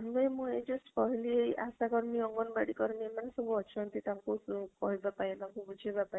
ଆମେ ମୁଁ ଏଇ just କହିଲି ଏଇ ଆଶା କର୍ମୀ ଅଗଣବାଦୀ କର୍ମୀ ମାନେ ସବୁ ଅଛନ୍ତି ତାଙ୍କୁ କହିବ ପାଇଁ ତତାଙ୍କୁ ବୁଝେଇବା ପାଇଁ